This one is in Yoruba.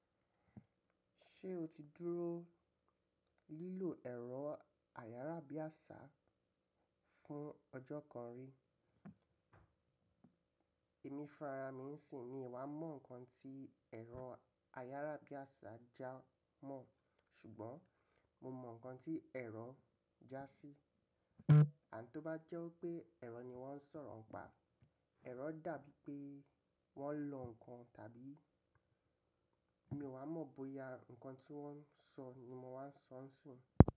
Ṣé o ti dúró lílọ̀ ẹ̀rọ ayárábiàsà fún ọjọ́ kan rí? Èmi funrarami ìnsì mi ò wá mọ̀ nǹkan tí ẹ̀rọ ayárábiàsà jámọ̀, ṣùgbọ́n mo mọ̀ nǹkan tí ẹ̀rọ jásí. Àn tó bá jẹ́ pé ẹ̀rọ ni wọ́n ń sọ̀rọ̀ pà, ẹ̀rọ dàbí pé wọ́n ń lọ nǹkan tàbí mi ò wá mọ̀ bóyá nǹkan tí wọ́n ń sọ ni mo wá ń sọ ń sìn.